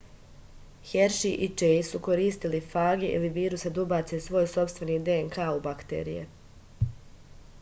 herši i čejs su koristili fage ili viruse da ubace svoj sopstveni dnk u bakterije